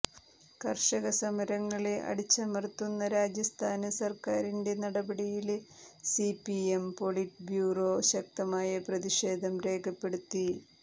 കര്ഷക സമരങ്ങളെ അടിച്ചമര്ത്തുന്ന രാജസ്ഥാന് സര്ക്കാരിന്റെ നടപടിയില് സിപിഎം പൊളിറ്റ് ബ്യൂറോ ശക്തമായ പ്രതിഷേധം രേഖപ്പെടുത്തി